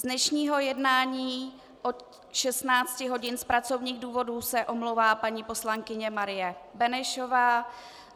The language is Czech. Z dnešního jednání od 16 hodin z pracovních důvodů se omlouvá paní poslankyně Marie Benešová.